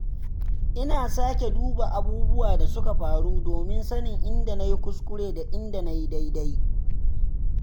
Ina sake duba abubuwan da suka faru domin sanin inda na yi kuskure da inda na yi daidai.